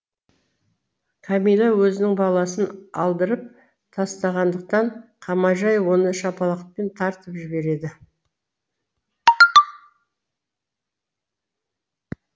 кәмила өзінің баласын алдырып тастағандықан қамажай оны шапалақпен тартып жібереді